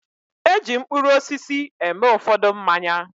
E ji mkpụrụ osisi eme ụfọdụ mmanya.